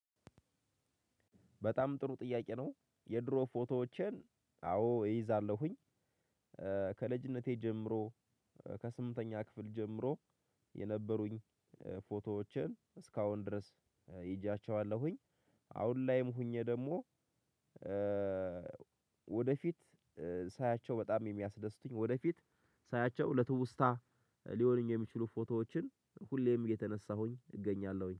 በጣም ጥሩ ጥያቄ ነው የድሮ ፎቶዎቸን አዎ እይዛለሁኝ። ከልጅነቴ ጀምሮ ከስምንተኛ ክፍል ጀምሮ የነበሩኝ ፎቶዎቸን እስካሁን ድረስ ይዣቸዋለሁኝ። አሁን ላይም ሆኜ ደግሞ። ወደፊት ሳያቸው በጣም የሚያስደስቱኝ ወደፊት ሳያቸው ለትውስታ ሊሆኑኝ የሚችሉ ፎቶዎችን ሁሌም የተነሳሁኝ እገኛለሁኝ